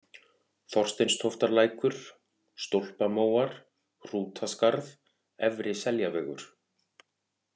Þorsteinstóftarlækur, Stólpamóar, Hrútaskarð, Efri-Seljavegur